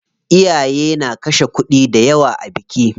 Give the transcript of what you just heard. Iyaye na kashe kuɗi dayawa a biki.